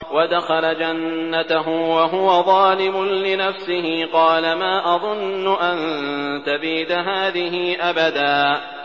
وَدَخَلَ جَنَّتَهُ وَهُوَ ظَالِمٌ لِّنَفْسِهِ قَالَ مَا أَظُنُّ أَن تَبِيدَ هَٰذِهِ أَبَدًا